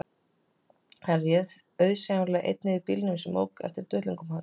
Hann réð auðsæilega einn yfir bílnum sem ók eftir duttlungum hans